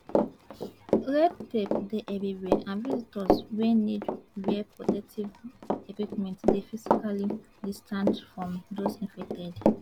red tape dey everywhere and visitors wey need wear protective equipment dey physically distanced from those infected